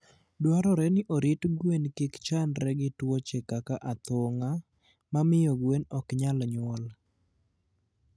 Dwarore ni orit gwen kik chandre gi tuoche kaka athung'a, ma miyo gwen ok nyal nyuol.